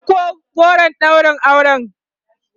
ku ɗauko goron ɗaurin auren!